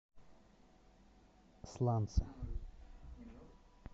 сланцы